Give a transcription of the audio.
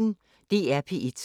DR P1